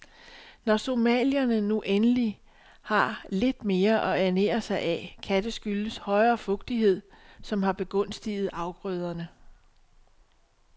Når somalierne nu endelig har lidt mere at ernære sig af, kan det skyldes højere fugtighed, som har begunstiget afgrøderne.